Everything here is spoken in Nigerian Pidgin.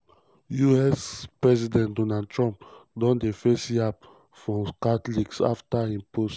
us president um donald trump don dey face yab from catholics afta um e post